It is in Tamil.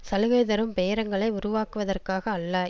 சலுகைதரும் பேரங்களை உருவாக்குவதற்காக அல்ல